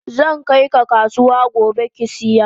Zankai ka kasuwa gobe kisiya.